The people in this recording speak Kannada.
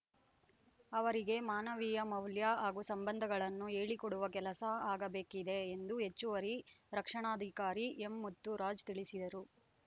ಅವರಿಗೆ ಮಾನವೀಯ ಮೌಲ್ಯ ಹಾಗೂ ಸಂಬಂಧಗಳನ್ನು ಹೇಳಿ ಕೊಡುವ ಕೆಲಸ ಆಗಬೇಕಿದೆ ಎಂದು ಹೆಚ್ಚುವರಿ ರಕ್ಷಣಾಧಿಕಾರಿ ಎಂ ಮುತ್ತುರಾಜ್‌ ತಿಳಿಸಿದರು